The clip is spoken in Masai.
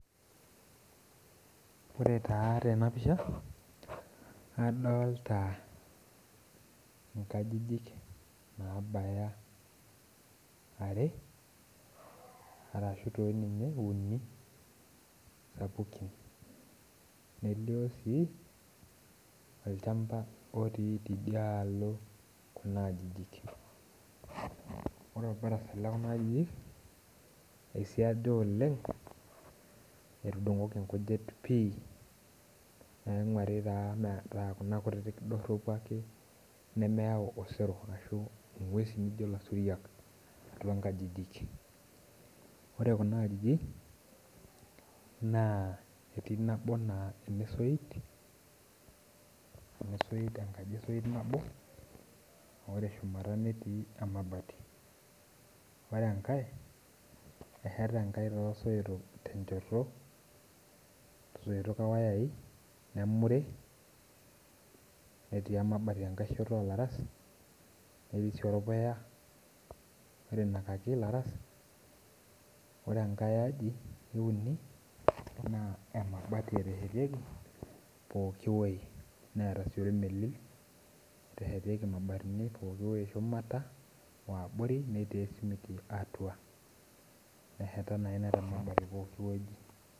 Ore taa tenapisha, adolta inkajijik nabaya are, arashu toi ninye uni sapukin. Nelio si, olchamba otii tidialo kuna ajijik. Ore orbarasa lekuna ajijik, eisiaja oleng etudung'oki nkujit pi, naing'uari taa metaa kuna kutitik dorropu ake nemeyau osero ashu ing'uesin nijo lasuriak atua nkajijik. Ore kuna ajijik, naa etii nabo naa enosoit, enosoit enkaji esoit nabo, ore shumata netii emabati. Ore enkae, esheta enkae tosoitok tenchoto, soitok owayai, nemuri, netii emabati enkae shoto olaras, netii si orpuya oirinakaki laras, ore enkae aji euni, naa emabati eteshetieki pooki woi, neeta si ormelil oteshetieki mabatini pooki woi eshumata oabori, netii esimiti atua. Neheta na ina temabati pooki woi.